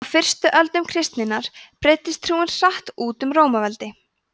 á fyrstu öldum kristninnar breiddist trúin hratt út um rómaveldi